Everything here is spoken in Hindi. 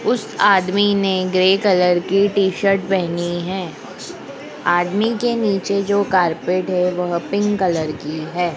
उस आदमी ने ग्रे कलर की टी-शर्ट पहनी है। आदमी के नीचे जो कारपेट है वह पिंक कलर की है।